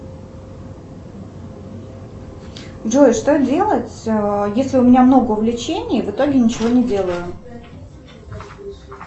джой что делать если у меня много увлечений в итоге ничего не делаю